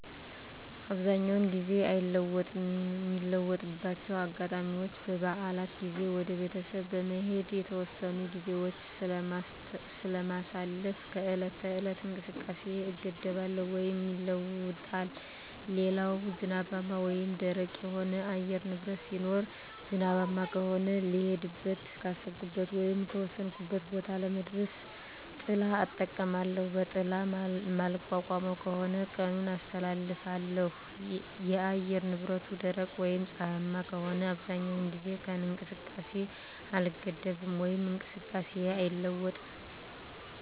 አብዛኛውን ጊዜ አይለወጥም ሚለወጥባቸው አጋጣሚዎች በበዓላት ጊዜ ወደ ቤተሰብ በመሄድ የተወሰኑ ግዜዎች ስለማሳልፍ ከዕለት ተዕለት እንቅስቃሴየ እገደባለው ወይም ይለወጣል ሌላው ዝናባማ ወይም ደረቅ የሆነ የአየር ንብረት ሲኖር ዝናባማ ከሆነ ልሄድበት ካሰብኩት ወይም ከወሰንኩት ቦታ ለመድረስ ጥላ እጠቀማለሁ በጥላ ማልቋቋመው ከሆነ ቀኑን አስተላልፋለሁ የአየር ንብረቱ ደረቅ ወይም ፀሀያማ ከሆነ አብዛኛውን ጊዜ ከእንቅስቃሴ አልገደብም ወይም እንቅስቃሴየ አይለዋወጥም